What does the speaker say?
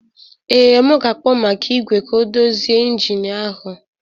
Ee, m ga-akpọ maka igwe ka ọ dozie injin ahụ